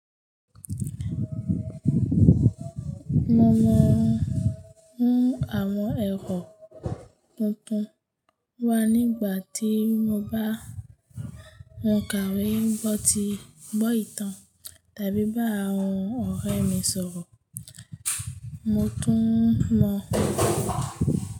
Mo mọ ohun àwọn ẹ̀kọ́ tuntun wà nígbà tí mo bá ń kàwé gbọ́ ìtàn tàbí bá àwọn ọ̀rẹ́ mi sọ̀rọ̀. Mo tún mọ.